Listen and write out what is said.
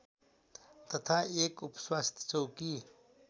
तथा एक उपस्वास्थ्य चौकी